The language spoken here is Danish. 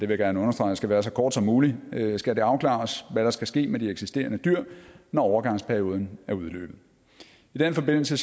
jeg gerne understrege skal være så kort som muligt skal det afklares hvad der skal ske med de eksisterende dyr når overgangsperioden er udløbet i den forbindelse